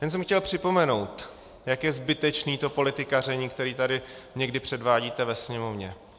Jen jsem chtěl připomenout, jak je zbytečné to politikaření, které tady někdy předvádíte ve Sněmovně.